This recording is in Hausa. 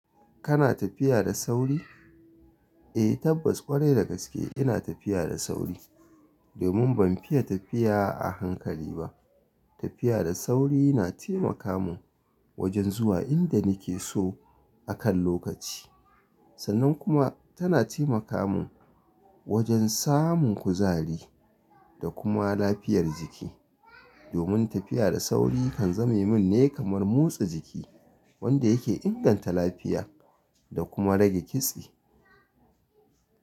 Kana tafiya da sauri? Eh, tabbas kwarai da gaske ina tafiya da sauri. Domin ban fiye tafiya a hankali ba. Tafiya da sauri na taimaka mun wajen zuwa inda nake so akan lokaci. Sannan kuma tana taimaka mun wajen samun kuzari da kuma lafiyar jiki. Domin tafiya da sauri kan zame mun ne kamar motsa jiki wanda yake inganta lafiya da kuma rage kitse.